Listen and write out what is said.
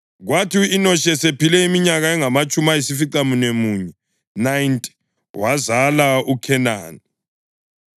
Kwathi u-Enoshi esephile iminyaka engamatshumi ayisificamunwemunye (90) wazala uKhenani.